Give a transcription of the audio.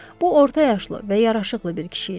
Bu orta yaşlı və yaraşıqlı bir kişi idi.